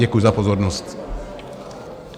Děkuji za pozornost.